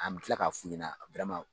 An bɛ kila ka fu ɲɛna